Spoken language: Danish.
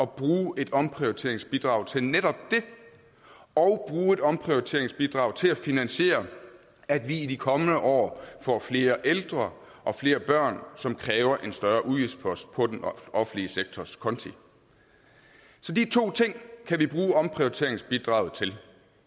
bruge et omprioriteringsbidrag til netop det og bruge et omprioriteringsbidrag til at finansiere at vi i de kommende år får flere ældre og flere børn som kræver en større udgiftspost på den offentlige sektors konti så de to ting kan vi bruge omprioriteringsbidraget til